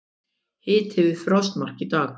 Hiti við frostmark í dag